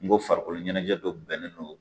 N ko farikolo ɲɛnajɛ dɔ bɛnnen don